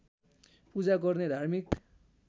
पूजा गर्ने धार्मिक